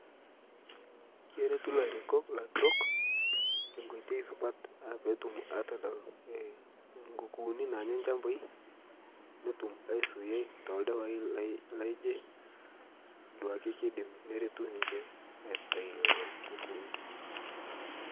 keretu larikok laturok tenkoitei supat aah petum atodol nkukuuni nanyaa lchampai netum aisuiyai toldawai laijee duake keidim neretuu ninshe aitai llolo kukuuni